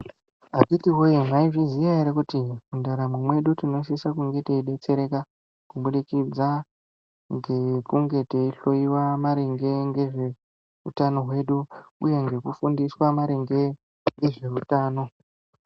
Akhithi woyee mwaizviziya ere kuti mundaramo mwedu tinosise kunge teidetsereka kubudikidza ngekunge teihloiwa maringe ngezveutano hwedu uye ngekufundiswa maringe nezveutano.